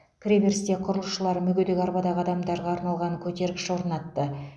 кіреберісте құрылысшылар мүгедек арбадағы адамдарға арналған көтергіш орнатты